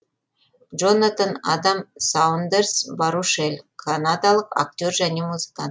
джонатан адам саундерс барушель канадалық актер және музыкант